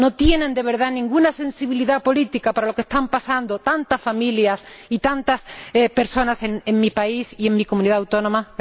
¿No tienen, de verdad, ninguna sensibilidad política para lo que están pasando tantas familias y tantas personas en mi país y en mi Comunidad autónoma?